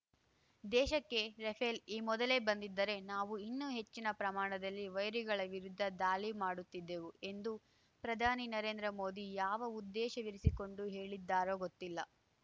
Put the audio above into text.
ದೇಶಕ್ಕೆ ರಫೇಲ್ ಈ ಮೊದಲೇ ಬಂದಿದ್ದರೆ ನಾವು ಇನ್ನೂ ಹೆಚ್ಚಿನ ಪ್ರಮಾಣದಲ್ಲಿ ವೈರಿಗಳ ವಿರುದ್ಧ ದಾಳಿ ಮಾಡುತ್ತಿದ್ದೆವು ಎಂದು ಪ್ರಧಾನಿ ನರೇಂದ್ರ ಮೋದಿ ಯಾವ ಉದ್ದೇಶವಿರಿಸಿಕೊಂಡು ಹೇಳಿದ್ದಾರೋ ಗೊತ್ತಿಲ್ಲ